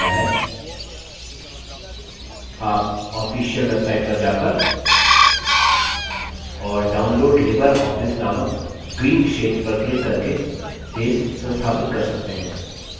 आप official website पर जाकर और download libreoffice नामक green क्षेत्र पर क्लिक करके base संस्थापित कर सकते हैं